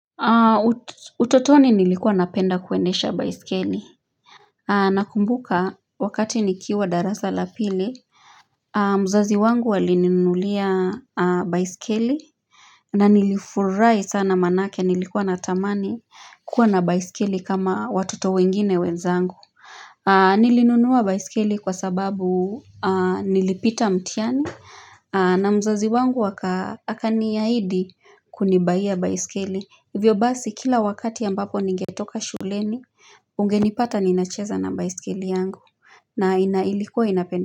Utotoni nilikuwa napenda kuendesha baisikeli Nakumbuka wakati nikiwa darasa la pili mzazi wangu walininunulia baiskeli na nilifurahi sana maanake nilikuwa natamani kuwa na baiskeli kama watoto wengine wenzangu Nilinunua baiskeli kwa sababu nilipita mtihani na mzazi wangu akanihaidi kunibuyia baiskeli Hivyo basi kila wakati ambapo ningetoka shuleni Ungenipata ninacheza na baiskeli yangu na ilikuwa inapenda.